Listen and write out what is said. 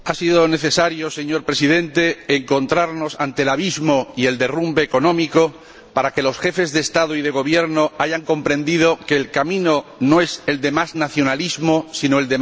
Señor Presidente, ha sido necesario encontrarnos ante el abismo y el derrumbe económico para que los Jefes de Estado y de Gobierno hayan comprendido que el camino no es el de más nacionalismo sino el de más Europa.